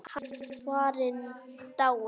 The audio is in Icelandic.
Hann er farinn, dáinn.